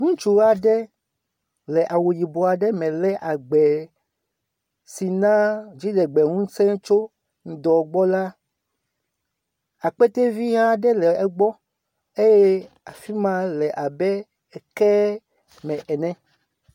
Ŋutsu aɖe le awu yibɔ ade me lé agbɛ si naa dziɖegbeŋusẽ tso ŋdɔ gbɔ la. Akpete vi aɖe le egbɔ eye afi ma le abe ekee me ene.